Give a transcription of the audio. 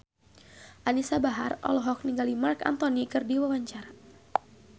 Anisa Bahar olohok ningali Marc Anthony keur diwawancara